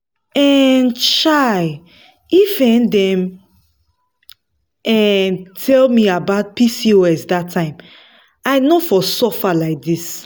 um chai! if um dem um tell me about pcos that time i no for suffer like this.